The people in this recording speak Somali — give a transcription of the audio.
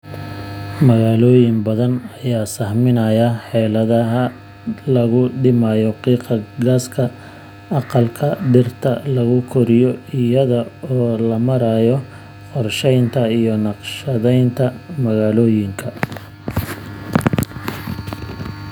Magaalooyin badan ayaa sahaminaya xeeladaha lagu dhimayo qiiqa gaaska aqalka dhirta lagu koriyo iyada oo loo marayo qorshaynta iyo naqshadaynta magaalooyinka.